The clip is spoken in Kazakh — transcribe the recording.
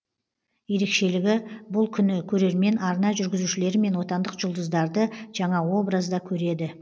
ерекшелігі бұл күні көрермен арна жүргізушілері мен отандық жұлдыздарды жаңа образда көреді